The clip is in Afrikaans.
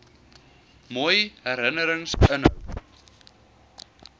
mooi herinnerings inhou